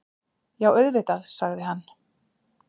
Já, auðvitað- sagði hann.